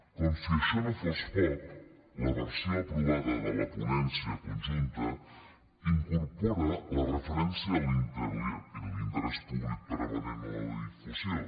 com si això no fos poc la versió aprovada de la ponència conjunta incorpora la referència a l’interès públic prevalent a la difusió